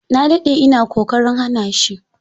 Na dade ina kokarin hana shi.